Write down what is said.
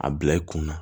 A bila i kun na